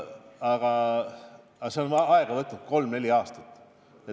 Aga see on aega võtnud kolm-neli aastat.